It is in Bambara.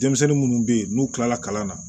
Denmisɛnnin munnu be yen n'u kilala kalan na